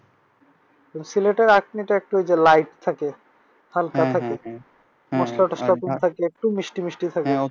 সিলেটের আখনিটা ঐযে একটু light থাকে। হালকা থাকে মসলা মসলা একটু কম থাকে হালকা মিষ্টি থাকে।